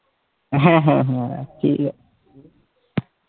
হ্যাঁ হ্যাঁ হ্যাঁ রাখছি